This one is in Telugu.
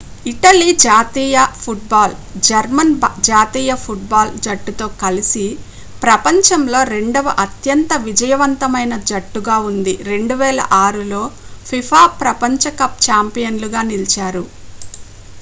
ఇటలీ జాతీయ ఫుట్ బాల్ జర్మన్ జాతీయ ఫుట్ బాల్ జట్టుతో కలిసి ప్రపంచంలో రెండవ అత్యంత విజయవంతమైన జట్టుగా ఉంది 2006 లో fifa ప్రపంచ కప్ ఛాంపియన్లుగా నిలిచారు